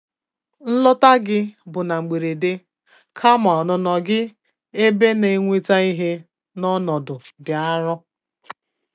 Nlọta gị bụ na mgberede, kama ọnụnọ gị ebe na-eweta ihe n'ọnọdụ dị arụ.